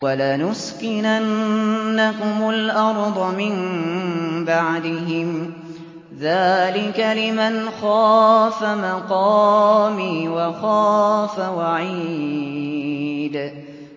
وَلَنُسْكِنَنَّكُمُ الْأَرْضَ مِن بَعْدِهِمْ ۚ ذَٰلِكَ لِمَنْ خَافَ مَقَامِي وَخَافَ وَعِيدِ